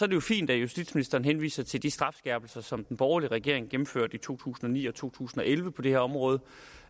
det jo fint at justitsministeren henviser til de strafskærpelser som den borgerlige regering gennemførte i to tusind og ni og to tusind og elleve på det her område